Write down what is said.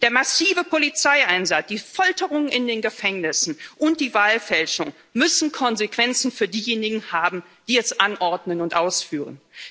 Der massive Polizeieinsatz, die Folterungen in den Gefängnissen und die Wahlfälschung müssen Konsequenzen für diejenigen haben, die es anordnen und ausführen.